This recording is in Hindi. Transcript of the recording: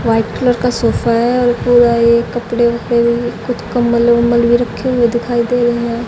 व्हाइट कलर का सोफा है और पूरा ये कपड़े वपडे भी कुछ कम्बल वंबल भी रखे हुए दिखाई दे रहे हैं।